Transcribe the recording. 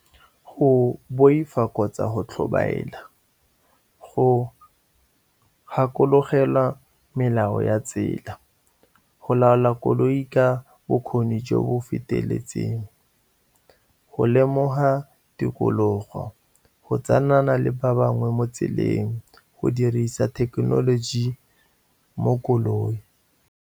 Go boifa kgotsa go tlhobaela, go gakologelwa melao ya tsela, go laola koloi ka bokgoni jo bo feteletseng, go lemoga tikologo, go tsayana le ba bangwe mo tseleng, go dirisa thekenoloji mo koloi.